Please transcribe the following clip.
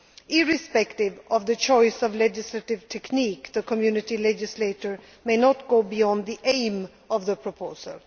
Irrespective of the choice of legislative technique, the Community legislator may not go beyond the aim of the